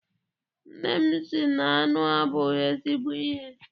Nne m sị na aṅụ abụghị ezigbo ihe.